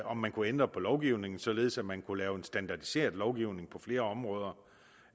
om man kunne ændre på lovgivningen således at man kunne lave en standardiseret lovgivning på flere områder